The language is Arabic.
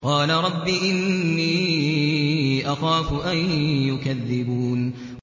قَالَ رَبِّ إِنِّي أَخَافُ أَن يُكَذِّبُونِ